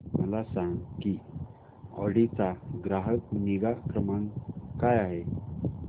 मला सांग की ऑडी चा ग्राहक निगा क्रमांक काय आहे